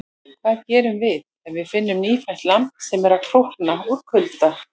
Hvað gerum við ef við finnum nýfætt lamb sem er að krókna úr kulda?